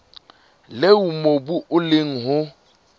leo mobu o leng ho